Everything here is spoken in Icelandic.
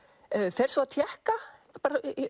fer svo að tékka